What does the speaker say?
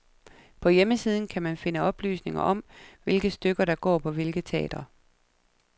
På hjemmesiden kan man finde oplysninger om, hvilke stykker der går på hvilke teatre.